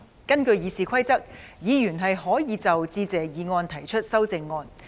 根據《議事規則》，議員可就致謝議案提出修正案。